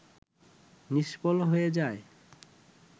নিষ্ফল হয়ে যায়